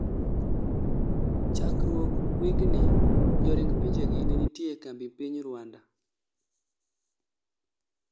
chakruog wigni, joring pinjegi nenitie e kambi piny Ruanda